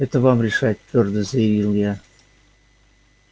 это вам решать твёрдо заявила я